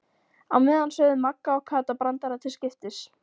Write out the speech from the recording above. Á meðan sögðu Magga og Kata brandara til skiptis.